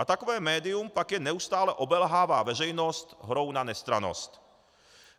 A takové médium pak jen neustále obelhává veřejnost hrou na nestrannost.